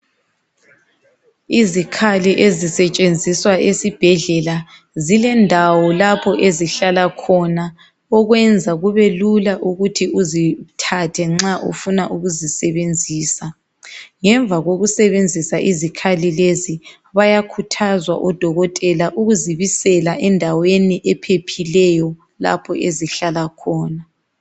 Izikhali ezisetshenziswa esibhedlela zilendawo lapha ezihlala khona ukwenza kube lula ukuthi uzithathe nca ufuna ukuzisebenzisa ngemva kokusebenzisa izikhathi lezi bayakhuthazwa odokotela ukuzi bisela endaweni ephephileyo lapho ezihlala khona.